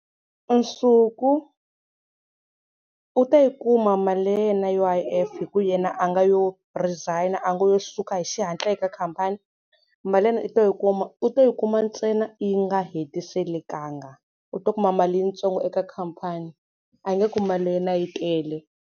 Nsuku u ta yi kuma mali ya yena ya U_I_F hi ku yena a nga yo resign-a nga yo suka hi xihatla eka khampani, mali ya yena u ta yi kuma u ta yi kuma ntsena yi nga hetiselekanga. U ta kuma mali yitsongo eka khampani a nge ku mali ya yena yi tele.